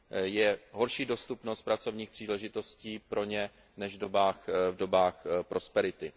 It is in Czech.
Je horší dostupnost pracovních příležitostí pro ně než v dobách prosperity.